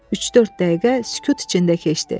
Üç-dörd dəqiqə sükut içində keçdi.